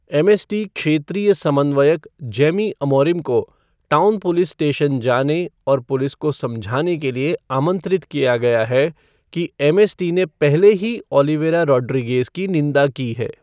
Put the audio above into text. MST क्षेत्रीय समन्वयक Jamie Amorim को टाउन पुलिस स्टेशन जाने और पुलिस को समझाने के लिए आमंत्रित किया गया है कि एमएसटी ने पहले ही ओलिवेरा रोड्रिगएज़ की निंदा की है।